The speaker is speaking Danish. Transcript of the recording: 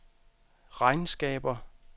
regnskaber